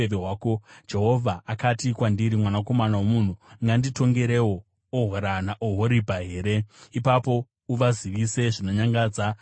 Jehovha akati kwandiri, “Mwanakomana womunhu unganditongerewo Ohora naOhoribha here? Ipapo uvazivise zvinonyangadza zvavanoita,